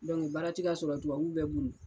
Dɔnku baara ti ka sɔrɔ tubabu bɛɛ bolila